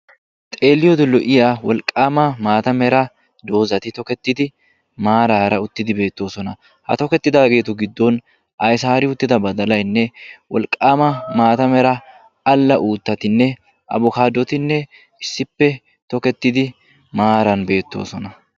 Xeelliyoode lo"iyaa wolqqaama maata mera doozati tokettidi maarara uttidi beettoosona. ha tokettidagetu giddon aysaari uttida badalayinne wolqqaama maata mera alla uuttatinne abikaadotinne issippe tokettidi maaran beettoosona.